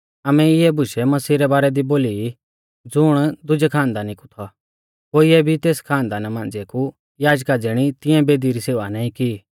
आमै इऐ बुशै मसीह रै बारै दी बोली ई ज़ुण दुजै खानदानी कु थौ कोइऐ भी तेस खानदाना मांझ़िऐ कु याजका ज़िणी तिऐं बेदी री सेवा नाईं की